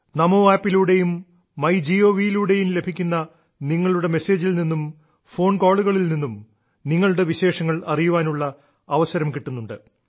ചമാീ അുു ലൂടെയും ങ്യ ഴീ് യിലൂടെയും ലഭിക്കുന്ന നിങ്ങളുടെ മെസേജിൽ നിന്നും ഫോൺകോളുകളിൽ നിന്നും നിങ്ങളുടെ വിശേഷങ്ങൾ അറിയാനുള്ള അവസരം കിട്ടുന്നുണ്ട്